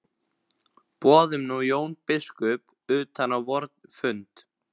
Boðum nú Jón biskup utan á vorn fund.